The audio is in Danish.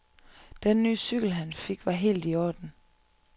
Den ny cykel, han fik, var helt i orden.